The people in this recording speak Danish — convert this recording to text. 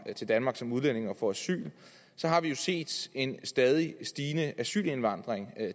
til danmark som udlænding og får asyl så har vi jo set en stadigt stigende asylindvandring